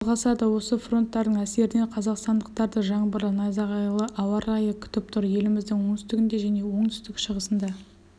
жалғасады осы фронттардың әсерінен қазақстандықтарды жаңбырлы найзағайлы ауа райы күтіп тұр еліміздің оңтүстігінде және оңтүстік-шығысында